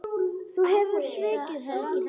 Þú hefur svikið þær allar.